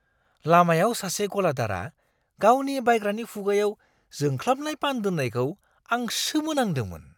लामायाव सासे गलादारआ गावनि बायग्रानि खुगायाव जोंख्लाबनाय पान दोननायखौ आं सोमोनांदोंमोन।